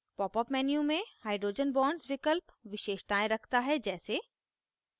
popअप menu में hydrogen bonds विकल्प विशेषताएँ रखता है जैसे: